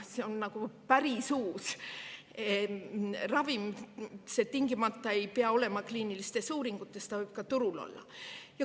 See on nagu päris uus ravim, ta ei pea tingimata olema kliiniliste uuringute, ta võib ka juba turul olla.